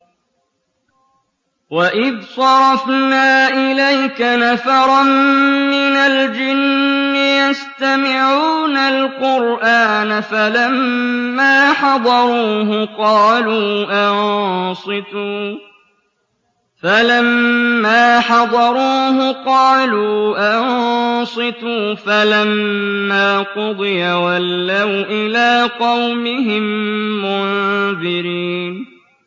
وَإِذْ صَرَفْنَا إِلَيْكَ نَفَرًا مِّنَ الْجِنِّ يَسْتَمِعُونَ الْقُرْآنَ فَلَمَّا حَضَرُوهُ قَالُوا أَنصِتُوا ۖ فَلَمَّا قُضِيَ وَلَّوْا إِلَىٰ قَوْمِهِم مُّنذِرِينَ